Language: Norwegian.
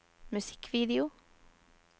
musikkvideo